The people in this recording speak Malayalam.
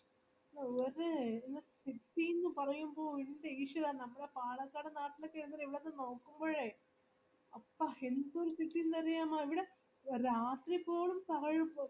നിങ്ങക്ക് കിട്ടിന് പറയുമ്പോപാലക്കാട് നാട്ടിലൊക്കെ ഇവിടൊക്കെ നോകുമ്പോഴേ ആഹ്ഹ എന്തൊരുഅറിയാമോ രാത്രിപോലും താഴും ഇപ്പൊ